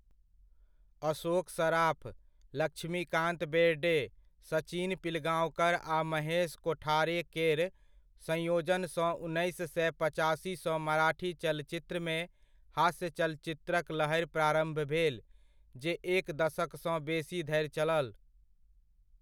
अशोक सराफ, लक्ष्मीकान्त बेर्डे, सचिन पिलगाँवकर आ महेश कोठारेकेर संयोजनसँ उन्नैस सए पचासी सँ मराठी चलचित्रमे हास्य चलचित्रक लहरि प्रारम्भ भेल जे एक दशकसँ बेसी धरि चलल।